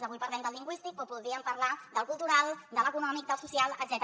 avui parlem del lingüístic però podríem parlar del cultural de l’econòmic del social etcètera